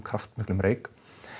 kraftmiklum reyk